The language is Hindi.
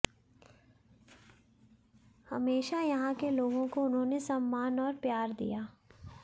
हमेशा यहां के लोगों को उन्होंने सम्मान और प्यार दिया